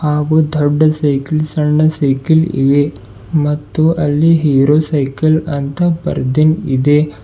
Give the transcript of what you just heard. ಹಾಗು ದೊಡ್ಡ ಸೈಕಲ್ ಸಣ್ಣ ಸೈಕಲ್ ಇವೆ ಮತ್ತು ಅಲ್ಲಿ ಹೀರೋ ಸೈಕಲ್ ಅಂತ ಬರ್ದಿನ್ ಇದೆ.